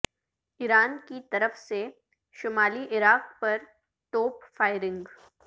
ایران کی طرف سے شمالی عراق پر توپ فائرنگ